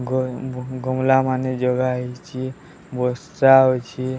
ଗଏ ଗମଲା ମାନେ ଜଗା ହେଇଚି ବର୍ଷା ହଉଛି।